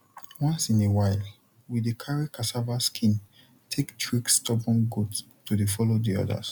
once in a while we dey carry cassava skin take trick stubborn goat to dey follow d others